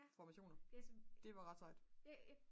formationer det var ret sejt